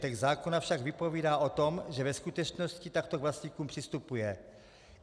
Text zákona však vypovídá o tom, že ve skutečnosti takto k vlastníkům přistupuje.